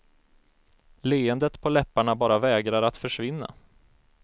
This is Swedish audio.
Leendet på läpparna bara vägrar att försvinna.